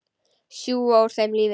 Sjúga úr þeim lífið.